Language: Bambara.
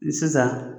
Sisan